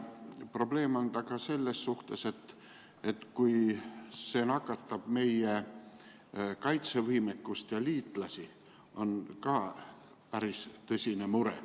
Probleem on see ka selles suhtes, et kui see nakatab meie kaitsevõimekust ja liitlasi, on ka päris tõsine mure.